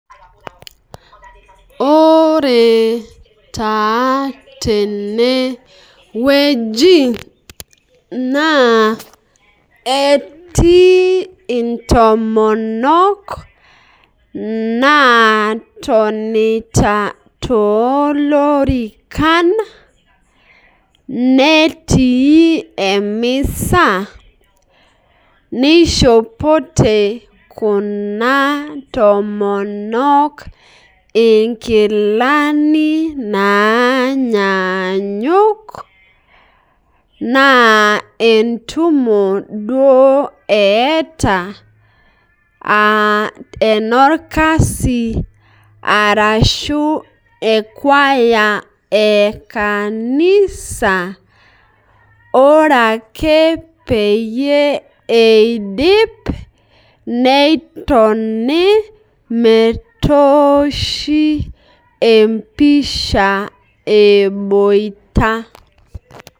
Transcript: Ore taa tenewueji naa etii intomonok natonita toolorikan netii emisa nishopoite kuna tomonok nkilani nanyannyuk naa entumo duo eeta aaenorkasi arashu kwaya ekanisa ,ore ake peyie eidip netoni metoshi empisha eboita.